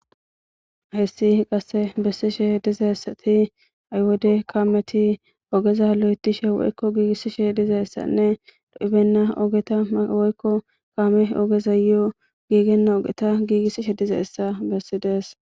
Hessi qasse bessishe dizaessati aywode kaameti ogeza lo'etishe woykko giigissishe dizeessanne do'ibenna ogeta woykko kaame ogeza yoo giigenna ogeta giigissishe dize essa bessidees.